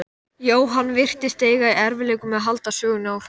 Jóhann virtist eiga í erfiðleikum með að halda sögunni áfram.